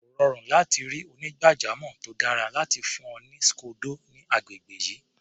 Kò rọrùn láti ri onígbàjamọ̀ tó dára láti fún ọ ní scodo ní agbègbè yìí.